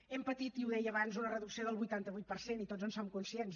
hem patit i ho deia abans una reducció del vuitanta vuit per cent i tots en som conscients